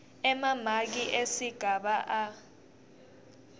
emamaki esigaba a